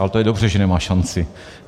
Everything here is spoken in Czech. Ale to je dobře, že nemá šanci.